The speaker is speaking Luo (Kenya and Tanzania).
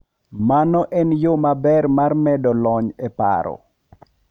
Mano en yo maber mar medo lony e paro.